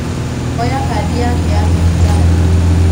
oya Kandi yake ya thibitarĩ